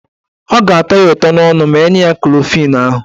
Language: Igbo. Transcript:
Ọ ga-atọ ya ụtọ n'ọnụ ma enye ya kọflịn ahụ.